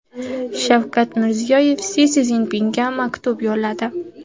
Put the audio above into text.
Shavkat Mirziyoyev Si Szinpinga maktub yo‘lladi.